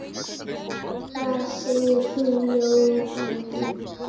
Hvað segir þú, Jóna mín?